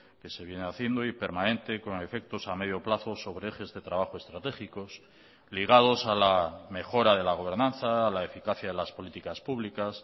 que se viene haciendo y permanente con efectos a medio plazo sobre ejes de trabajo estratégicos ligados a la mejora de la gobernanza a la eficacia de las políticas públicas